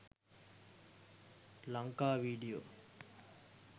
lanka video